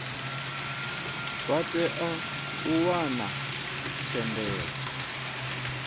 vha tea u wana thendelo